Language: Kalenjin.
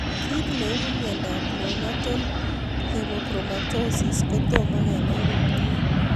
Kiy neipu miondop neonatal hemochromatosis kotomo kenai komie